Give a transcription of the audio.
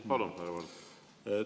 Palun, härra Valge!